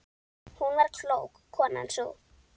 Hún var klók, konan sú.